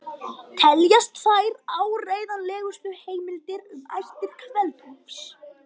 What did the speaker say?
Teljast þær áreiðanlegustu heimildir um ættir Kveld-Úlfs.